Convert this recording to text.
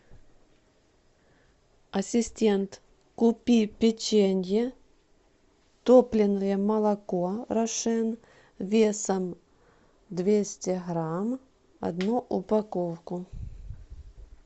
ассистент купи печенье топленое молоко рошен весом двести грамм одну упаковку